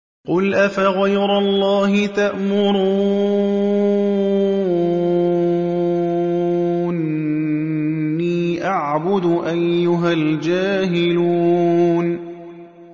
قُلْ أَفَغَيْرَ اللَّهِ تَأْمُرُونِّي أَعْبُدُ أَيُّهَا الْجَاهِلُونَ